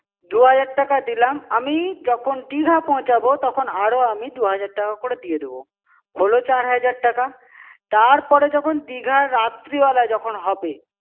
দু-হাজার টাকা দিলাম, আমি যখন দিঘা পৌছাবো তখন আরো আমি দু-হাজার টাকা করে দিয়ে দেবো। হোলো চার হাজার টাকা? তারপরে যখন দিঘায় রাত্রিবেলা যখন হবে।